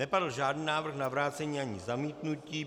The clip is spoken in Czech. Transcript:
Nepadl žádný návrh na vrácení ani zamítnutí.